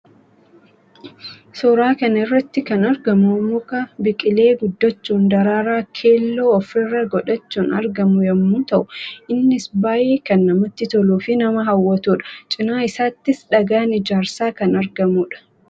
Fakkii kana irratti kan argamu muka biqilee guddachuun daraaraa keelloo of irraa godhachuun argamu yammuu ta'u; innis baayyee kan namatti toluu fi nama hawwatuu dha. Cina isaattis dhagaan ijaarsaa kan argamuu dha.